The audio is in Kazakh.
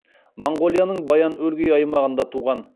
моңғолияның баян өлгей аймағында туған